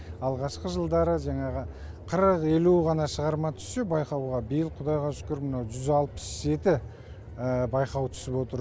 алғашқы жылдары жаңағы қырық елу ғана шығарма түссе байқауға биыл құдайға шүкір мынау жүз алпыс жеті байқауы түсіп отыр